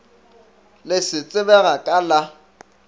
le se tsebega ka la